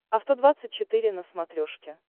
авто двадцать четыре на смотрешке